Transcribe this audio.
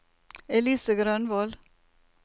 Elise Grønvold